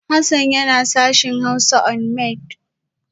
Hassan yana sashen Hausa Unimaid